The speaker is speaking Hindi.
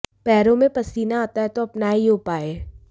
पैरों में पसीना आता है तो अपनाएं यह उपाय